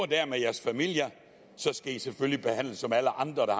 der med jeres familie så skal i selvfølgelig behandles som alle andre der